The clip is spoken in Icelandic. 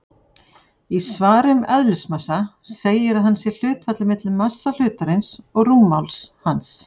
Í svari um eðlismassa segir að hann sé hlutfallið milli massa hlutarins og rúmmáls hans.